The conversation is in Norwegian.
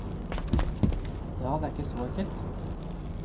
Ja, det er ikke så enkelt.